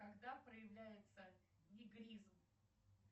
когда проявляется нигризм